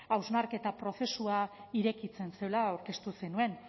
hausnarketa prozesua irekitzen zela aurkeztu zenuen